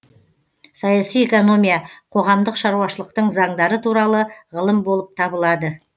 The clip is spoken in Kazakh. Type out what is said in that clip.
саяси экономия қоғамдық шаруашылықтың заңдары туралы ғылым болып табылады